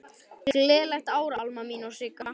Gleðilegt ár, Alma mín og Sigga.